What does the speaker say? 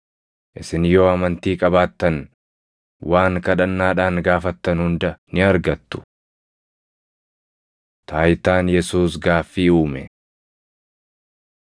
Isin yoo amantii qabaattan waan kadhannaadhaan gaafattan hunda ni argattu.” Taayitaan Yesuus Gaaffii Uume 21:23‑27 kwf – Mar 11:27‑33; Luq 20:1‑8